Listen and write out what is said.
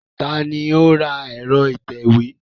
Ta ni ó ra ẹ̀rọ ìtẹ̀wé?